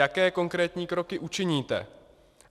Jaké konkrétní kroky učiníte?